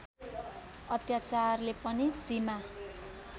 अत्याचारले पनि सीमा